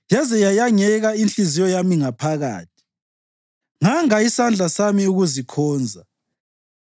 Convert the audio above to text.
yaze yayengeka inhliziyo yami ngaphakathi nganga isandla sami ukuzikhonza,